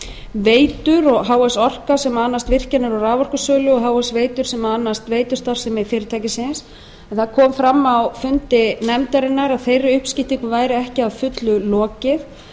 veitur og h f orka sem annast virkjanir og raforkusölu og h f veitur sem annast veitustarfsemi fyrirtækisins en það kom fram á fundi nefndarinnar að þeirri uppskiptingu væri ekki að fullu lokið